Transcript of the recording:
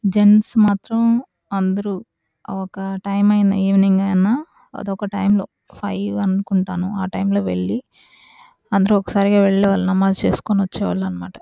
Gents మాత్రం అందరు ఒక టైమింగ్ ఈవెనింగ్ అని ఒక టైం లో ఒక ఫైవ్ అనుకుంటాను. ఒక టైం లో వెళ్లి ఒకసారి వాళ్ళు నమాజ్ చేసుకొని వచ్చేవాళ్ళు --